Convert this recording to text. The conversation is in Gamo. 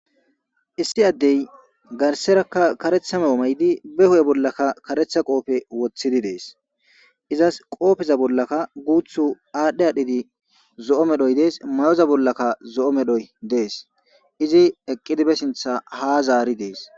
Issi adey gariserka kareta mayo mayidine huphe bollanika karete qophe wottidi des izas qopheza bollaka gutho adhi adhidi zo'o medhoy des ma'oza bollaka zo'o medhoy des eqidi be sinttan ha zarides.